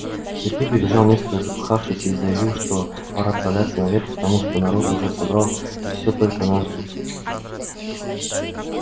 сергей прибежал несколько запыхавшись и заявил что пора отправляться наверх потому что народ уже собрал и всё только нас и ждут